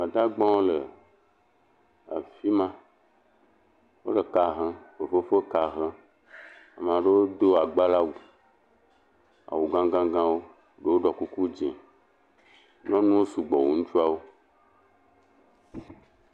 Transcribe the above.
Gbadagba wole afima. Wole fefefe ka hem. Ama ɖewo do agbala wu, awu gãgãgã wo. Ɖewo ɖo kuku dzẽ. Nyɔnuwo sɔgbɔ wu ŋutsua wo.